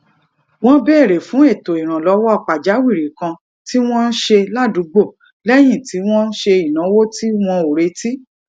wọn béérè fún ètò ìrànlọwọ pàjáwìrì kan tí wọn ṣe ládùúgbò lẹyìn tí wọn se inawo tí wọn ò retí